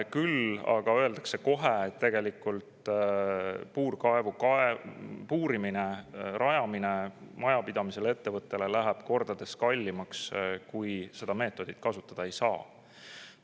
Küll aga öeldakse kohe, et puurkaevu puurimine, selle rajamine läheb majapidamisele ja ettevõttele kordades kallimaks, kui seda meetodit kasutada ei saa.